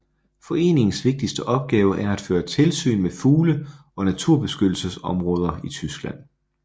Foreningens vigtigste opgave er at føre tilsyn med fugle og naturbeskyttelsesområder i Tyskland